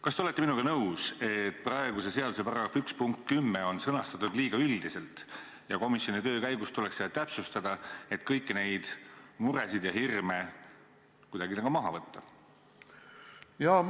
Kas te olete minuga nõus, et praeguse seaduse § 1 punkt 10 on sõnastatud liiga üldiselt ja komisjoni töö käigus tuleks seda täpsustada, et kõiki muresid ja hirme kuidagi maha võtta?